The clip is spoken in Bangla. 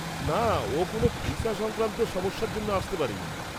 না, ও কোনও ভিসা সংক্রান্ত সমস্যার জন্য আসতে পারেনি।